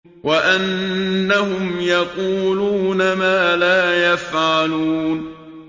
وَأَنَّهُمْ يَقُولُونَ مَا لَا يَفْعَلُونَ